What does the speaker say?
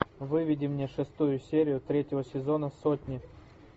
выведи мне шестую серию третьего сезона сотни